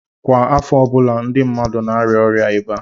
Kwa afo ọbụla ndi mmadu na-aria oria iba